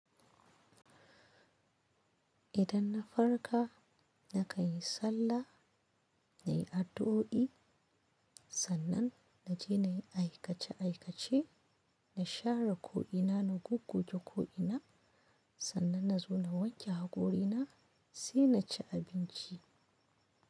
Idan na farka na kanyi sallah, na yi addu'o'i, sannan na je na yi aikace aikace, na share ko'ina, na goggoge ko'ina, sannan na zo na wanke hakorina sai na ci abinci.